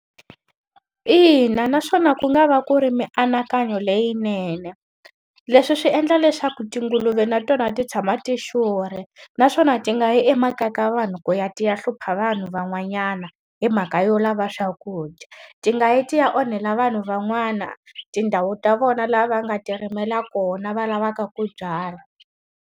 Ina na swona ku nga va ku ri mianakanyo leyinene. Leswi swi endla leswaku tinguluve na tona ti tshama ti xurhe, naswona ti nga yi emakaya ka vanhu ti ya ti ya hlupha vanhu van'wanyana hi mhaka yo lava swakudya. Ti nga yi ti ya onhela vanhu van'wana tindhawu ta vona laha va nga tirimela kona va lavaka ku byala.